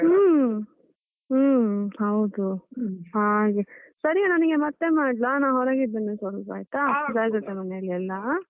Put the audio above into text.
ಹೂಂ, ಹೂಂ ಹೌದು. ಹಾಗೆ ಸರಿ ನಾನ್ ನಿನ್ಗೆ ಮತ್ತೆ ಮಾಡ್ಲಾ ನಾನ್ ಹೊರಗಿದ್ದೇನೆ ಸ್ವಲ್ಪ ಆಯ್ತಾ ಮನೆಯಲ್ಲೆಲ್ಲಾ.